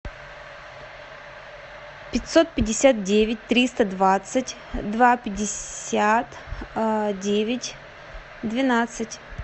пятьсот пятьдесят девять триста двадцать два пятьдесят девять двенадцать